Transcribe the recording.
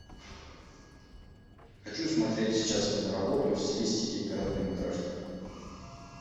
хочу смотреть сейчас киноработу в стилистике короткометражки